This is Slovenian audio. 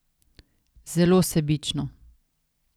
Zelo sebično!